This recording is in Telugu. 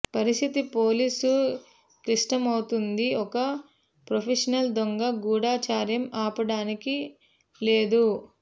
పరిస్థితి పోలీసు క్లిష్టమవుతుంది ఒక ప్రొఫెషనల్ దొంగ గూఢచర్యం ఆపడానికి లేదు